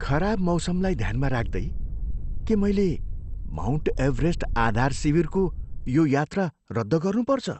खराब मौसमलाई ध्यानमा राख्दै, के मैले माउन्ट एभरेस्ट आधार शिविरको यो यात्रा रद्द गर्नुपर्छ?